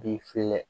Bi filɛ